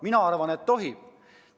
Mina arvan, et tohib.